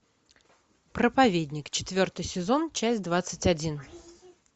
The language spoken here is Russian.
проповедник четвертый сезон часть двадцать один